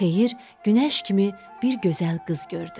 Xeyir günəş kimi bir gözəl qız gördü.